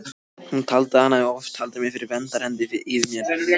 Hún taldi að hann hefði oft haldið verndarhendi yfir mér.